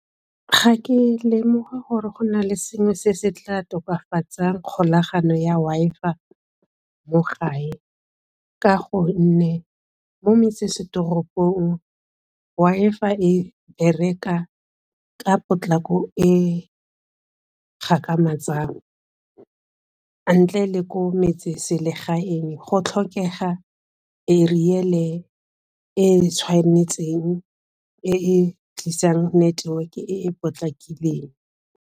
Ga ke lemoge gore go na le sengwe se se tla tokafatsang kgolagano ya Wi-Fi mo gae, ka gonne mo metsesetoropong Wi-Fi e reka ka potlako e ntle le ko metseselegaeng go tlhokega eriele e tshwanetseng e e tlisang network e e potlakileng.